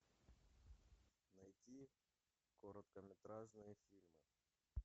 найти короткометражные фильмы